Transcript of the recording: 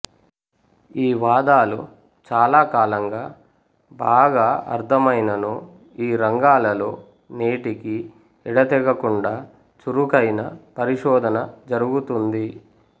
ఈ వాదాలు చాలా కాలంగా బాగా అర్ధమైనను ఈ రంగాలలో నేటికీ యెడతెగకుండా చురుకైన పరిశోధన జరుగుతతుంది